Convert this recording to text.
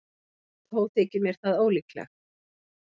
Þó þykir mér það ólíklegt.